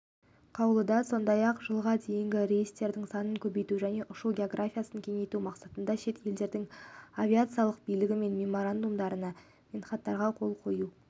қаулыда сондай-ақ жылға дейін рейстер санын көбейту және ұшу географиясын кеңейту мақсатында шет елдердің авиациялық билігімен меморандумдар мен хаттамаларға қол қою